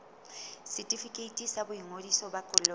setefikeiti sa boingodiso ba koloi